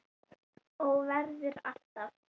Og verður alltaf.